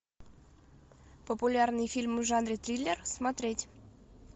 популярные фильмы в жанре триллер смотреть